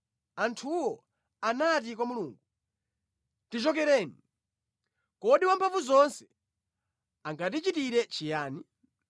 Anthuwo anati kwa Mulungu, ‘Tichokereni! Kodi Wamphamvuzonse angatichitire chiyani?’